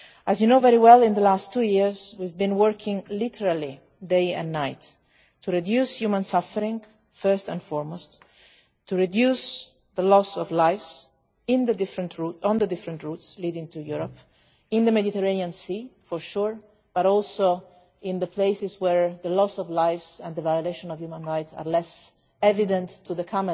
As you know very well, in the last two years we have been working literally day and night to reduce human suffering, first and foremost, and to reduce the loss of life on the various routes leading to Europe in the Mediterranean Sea, of course, but also in places where the loss of life and the violation of human rights are less evident to the